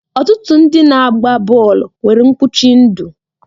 Ọtụtụ ndị na-agba bọọlụ nwere mkpuchi ndụ